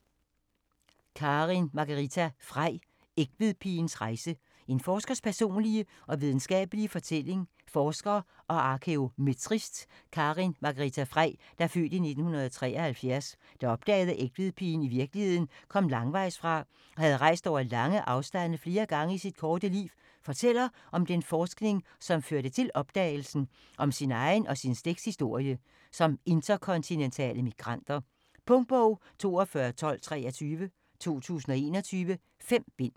Frei, Karin Margarita: Egtvedpigens rejse: en forskers personlige og videnskabelige fortælling Forsker og arkæometrist Karin Margarita Frei (f. 1973), der opdagede at Egtvedpigen i virkeligheden kom langvejsfra og havde rejst over lange afstande flere gange i sit korte liv, fortæller om den forskning som førte til opdagelsen, og om sin egen og sin slægts historie som interkontinentale migranter. Punktbog 421223 2021. 5 bind.